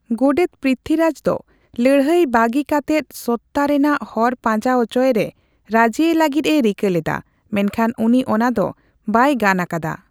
ᱜᱚᱰᱮᱛ ᱯᱨᱤᱛᱷᱤᱨᱟᱡᱽ ᱫᱚ ᱞᱟᱹᱲᱦᱟᱹᱭ ᱵᱟᱹᱜᱤ ᱠᱟᱛᱮᱫ ᱥᱚᱛᱭᱟ ᱨᱮᱱᱟᱜ ᱦᱚᱨ ᱯᱟᱸᱡᱟ ᱚᱪᱳᱭᱮᱨᱮ ᱨᱟᱹᱡᱤᱭᱮ ᱞᱟᱹᱜᱤᱫ ᱮ ᱨᱤᱠᱟᱹ ᱞᱮᱫᱟ, ᱢᱮᱱᱠᱷᱟᱱ ᱩᱱᱤ ᱚᱱᱟ ᱫᱚ ᱵᱟᱭ ᱜᱟᱱ ᱟᱠᱟᱫᱟ ᱾